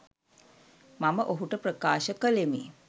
මම ඔහුට ප්‍රකාශ කළෙමි.